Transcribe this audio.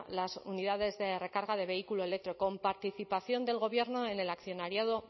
las unidades de recarga de vehículo eléctrico con participación del gobierno en el accionariado